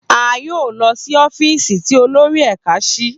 A yoo lọ si ọfiisi ti olori ẹka si.